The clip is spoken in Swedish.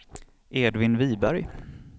Edvin Wiberg